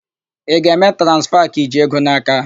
Ị ga-eme transfa ka i ji ego n'aka?